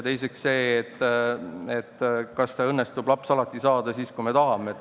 Teiseks see, kas õnnestub alati saada laps siis, kui me tahame.